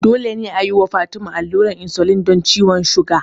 Dole ne a yi wa Fatima allurar insulin don ciwon suga.